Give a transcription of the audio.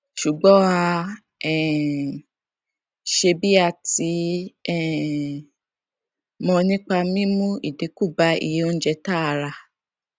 ṣùgbọn a um ṣe bí a ti um mọ nípa mímú ìdínkù bá iye oúnjẹ tá a rà